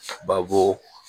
Babo